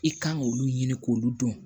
I kan k'olu ɲini k'olu dɔn